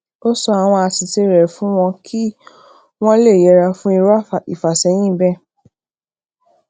ó sọ àwọn àṣìṣe re fún wọn kí wọn le yera fun iru ifaseyin bee